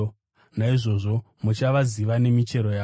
Naizvozvo muchavaziva nemichero yavo.